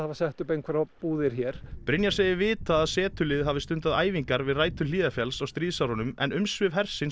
sett upp einhverjar búðir hér Brynjar segir vitað að setuliðið hafi stundað æfingar við rætur Hlíðarfjalls á stríðsárunum en umsvif hersins